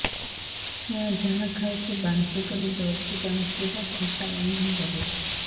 ଛୁଆ ଯାହା ଖାଉଛି ବାନ୍ତି କରିଦଉଛି ବାନ୍ତି ଟା ଖଟା ଗନ୍ଧ କରୁଛି